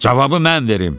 Cavabı mən verim.